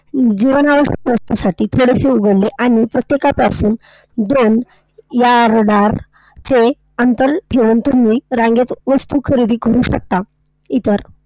जीवनावश्यक वस्तूंसाठी थोडेसे उघडले, आणि प्रत्येकापासून दोन या yard चे अंतर ठेवून तुम्ही रांगेत वस्तू खरेदी करू शकता इतर.